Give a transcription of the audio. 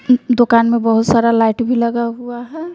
दुकान में बहोत सारा लाइट भी लगा हुआ है।